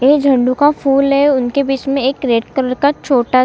ये झंडू का फूल है उनके बीच में एक रेड कलर का छोटा --